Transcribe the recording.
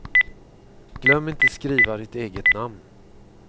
Glöm inte skriva ditt eget namn.